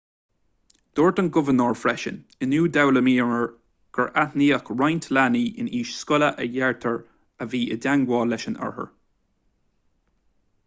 dúirt an gobharnóir freisin inniu d'fhoghlaimíomar gur aithníodh roinnt leanaí in aois scoile a deirtear a bhí i dteagmháil leis an othar